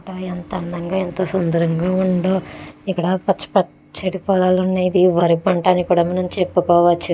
ఎంత అందంగా ఎంత సుందరంగా ఉందో ఇక్కడ పచ్చ పచ్చటి పొలాలు ఉన్నాయి ఇది వరి పంట అని కూడా మనం చెప్పుకోవచ్చు.